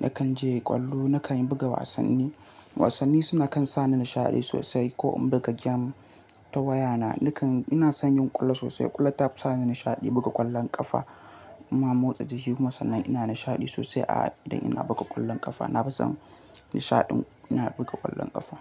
nakan je ƙwallo, nakan buga wasanni. Wasanni suna kan sa ni nishaɗi sosai. Ko in buga game ta wayana, nakan-- ina son yin ƙulla sosai. Ƙulla ta fi sa ni nishaɗi buga ƙwallon ƙafa. Ina motsa jiki kuma sannan ina nishaɗi sosai a idan ina buga ƙwallon ƙafa. Na fi son nishaɗin ina buga ƙwallon ƙafa.